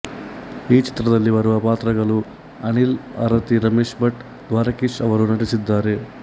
ಈ ಚಿತ್ರದಲ್ಲಿ ಬರುವ ಪಾತ್ರಗಳು ಅನಿಲ್ ಆರತಿ ರಮೇಶ್ ಭಟ್ ದ್ವಾರಕೀಶ್ ಅವರು ನಟಿಸಿದ್ದಾರೆ